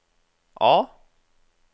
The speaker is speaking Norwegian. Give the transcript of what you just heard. A